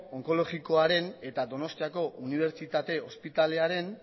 onkologikoaren eta donostiako unibertsitate ospitalearen